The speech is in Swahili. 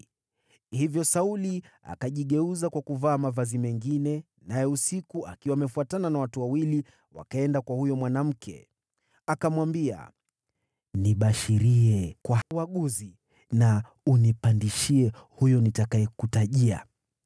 Hivyo Sauli akajigeuza kwa kuvaa mavazi mengine, naye usiku akiwa amefuatana na watu wawili wakaenda kwa huyo mwanamke. Akamwambia, “Nibashirie kwa uaguzi, unipandishie yule nitakayekutajia.”